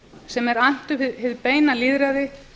sem er annt um hið beina lýðræði